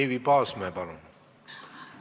Eevi Paasmäe, palun!